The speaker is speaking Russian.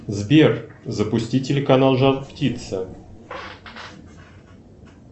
сбер запусти телеканал жар птица